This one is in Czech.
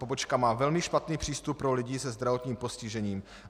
Pobočka má velmi špatný přístup pro lidi se zdravotním postižením.